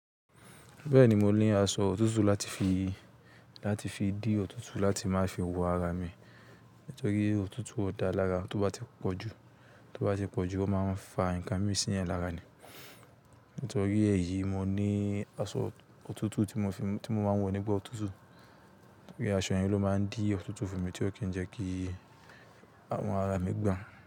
Bẹ́ẹ̀ni mo ní aṣọ òtútù láti fi, láti fi dì òtútù láti má fi wo ara mi. Nítorí òtútù ó da lára, tó bá ti pọ̀jù, tó bá ti pọ̀jù ó máa ń fa nǹkan mí sínú ẹ̀ lọ́la ni. Nítorí èyí, mo ní aṣọ òtútù tí mo fi, tí mo máa ń wọ nígbà òtútù. Nítorí aṣọ yẹn ló máa ń dì òtútù fún mi tí ó kì í jẹ́ kí àwọn ara mi gbà.